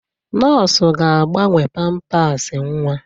Nọọsụ ga-agbanwe pampasị nwa.